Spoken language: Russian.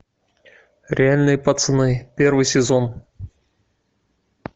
реальные пацаны первый сезон